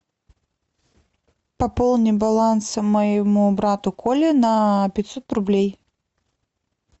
пополни баланс моему брату коле на пятьсот рублей